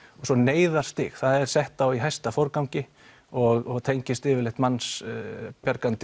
svo neyðarstig það er sett á í hæsta forgangi og tengist yfirleitt